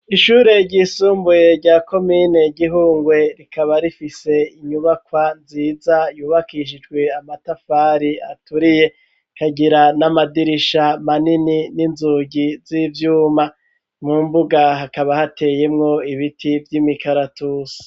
Ishure ryisumbuye rya komine Gihungwe rikaba rifise inyubakwa nziza yubakishijwe amatafari aturiye, kagira n'amadirisha manini n'inzugi z'ivyuma, mu mbuga hakaba hateyemwo ibiti vy'imikaratusi.